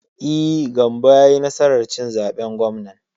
E, Gambo ya yi nasar cin zaben gwamnan.